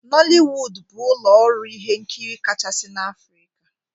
Nollywood bụ ụlọ ọrụ ihe nkiri kachasị na Afrika.